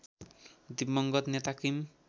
दिवंगत नेता किम